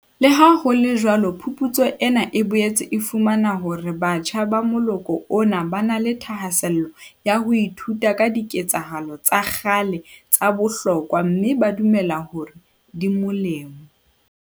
Leha ho le jwalo phuputso ena e boetse e fumane hore batjha ba moloko ona ba na le thahasello ya ho ithuta ka diketsahalo tsa kgale tsa bohlokwa mme ba dumela hore di molemo.